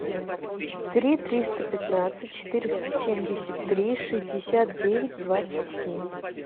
три триста пятнадцать четыреста семьдесят три шестьдесят девять двадцать семь